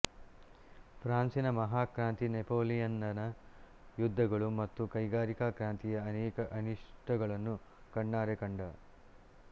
ಫ಼್ರಾನ್ಸಿನ ಮಹಾಕ್ರಾಂತಿ ನೆಪೋಲಿಯನ್ನನ ಯುದ್ದಗಳು ಮತ್ತು ಕೈಗಾರಿಕಾ ಕ್ರಾಂತಿಯ ಅನೇಕ ಅನಿಷ್ಟಗಳನ್ನು ಕಣ್ಣಾರೆ ಕಂಡ